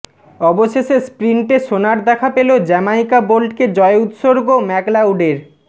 অবশেষে স্প্রিন্টে সোনার দেখা পেল জ্যামাইকা বোল্টকে জয় উৎসর্গ ম্যাকলাউডের